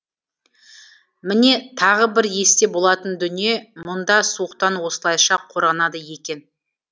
міне тағы бір есте болатын дүние мұнда суықтан осылайша қорғанады екен